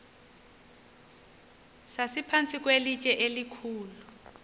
sasiphantsi kwelitye elikhulu